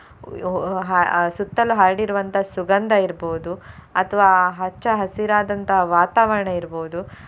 ಅಹ್ ಅಹ್ ಸುತ್ತಲು ಹರಡಿರುವಂತ ಸುಗಂಧ ಇರ್ಬೋದು ಅಥ್ವಾ ಹಚ್ಚ ಹಸಿರಾದಂತಹ ವಾತಾವರಣ ಇರ್ಬೋದು.